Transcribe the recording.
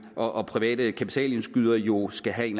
og private kapitalindskydere jo skal have en